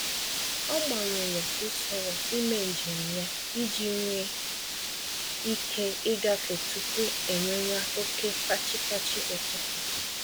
Ọ gbanwere usoro ímé njem ya iji nwe ike igafe tupu enwewa oke fachi-fachi ụtụtụ